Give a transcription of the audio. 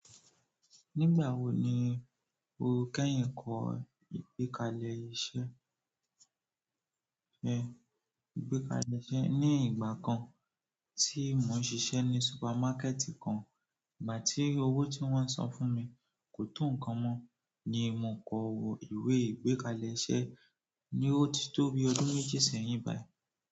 Nígbà wo ni o kẹ́yìn kọ ìgbékalẹ̀ iṣẹ́ ẹ? Igbekale iṣẹ́ ni igbakan ti mo n sise ni supermarket kan. Ìgbà tí owó tí wọ́n san fún mi kò tó nǹkan mọ́ ni mò kọ ìwé ìgbékalẹ̀ iṣẹ́ ní ó ti tó bi ọdún méjì sẹ́yìn báyìí.